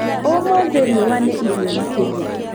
Ũmũthĩ riũa nĩ ihiũ makĩria.